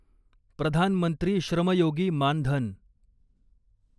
Pradhan Mantri Shram Yogi Maan Dhan